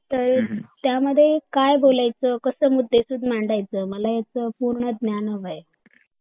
तर त्या मध्ये काय बोलायच कसं मुद्देसूद मांडायच मला ह्याच पूर्ण ज्ञान हवंय